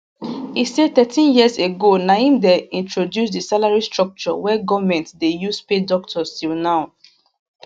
e say thirteen years ago na im dem introduce di salary structure wey goment dey use pay doctors till now